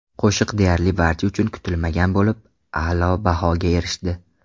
Qo‘shiq deyarli barcha uchun kutilmagan bo‘lib, a’lo bahoga erishdi.